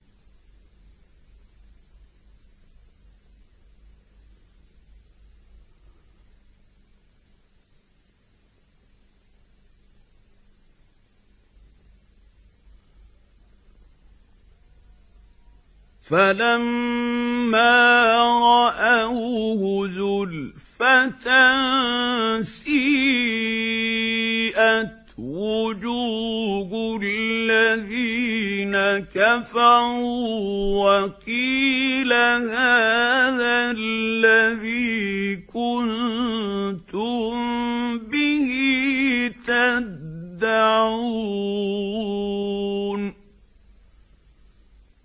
فَلَمَّا رَأَوْهُ زُلْفَةً سِيئَتْ وُجُوهُ الَّذِينَ كَفَرُوا وَقِيلَ هَٰذَا الَّذِي كُنتُم بِهِ تَدَّعُونَ